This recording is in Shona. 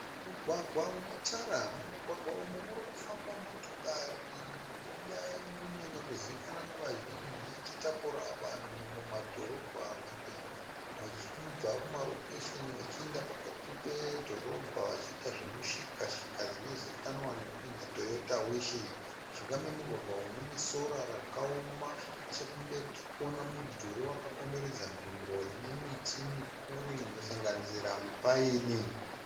Mugwagwa une tara, mumugwagwa umu muri kufamba motokari iya inonyanya kuzivikanwa nevazhinji ichitakura vanhu mumadhorobha kana vachibva kumarokesheni vachienda pakati pedhorobha vachiita zvemushikashika zvinozikanwa nekunzi Toyota Wishi, mujinga memugwagwa umu mune sora rakaoma nechekumberi tiri kuona mudhuri wakakomberedza nzvimbo ine miti mikuru inosanganisira mipaini.